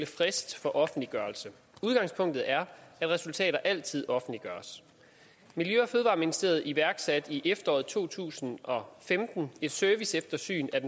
frist for offentliggørelse udgangspunktet er at resultater altid offentliggøres miljø og fødevareministeriet iværksatte i efteråret to tusind og femten et serviceeftersyn af